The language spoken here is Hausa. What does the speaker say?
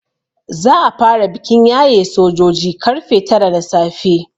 Za a fara bikin yaye sojoji karfe tara na safe.